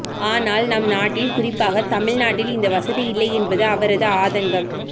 ஆனால் நம் நாட்டில் குறிப்பாக தமிழ்நாட்டில் இந்த வசதி இல்லை என்பது அவரது ஆதங்கம்